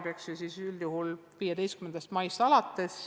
Huviharidus avaneb ju üldjuhul 15. maist.